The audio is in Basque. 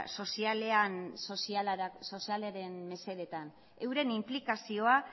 sozialaren mesedetan euren inplikazioa